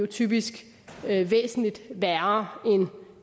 typisk væsentlig værre end